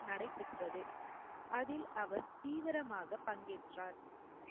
நடைபெற்றது. அதில் அவர் தீவிரமாக பங்கேற்றார்